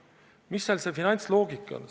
Mis seal see finantsloogika on?